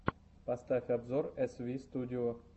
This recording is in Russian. поставь обзор эсвистудио